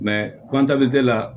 la